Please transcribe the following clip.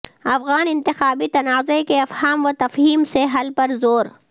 افغان انتخابی تنازع کے افہام و تفہیم سے حل پر زور